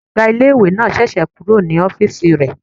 Ọgá ilé-ìwé náà sẹ̀sẹ̀ kúrò ní ọ́fìsì rẹ̀